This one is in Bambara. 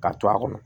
Ka to a kɔnɔ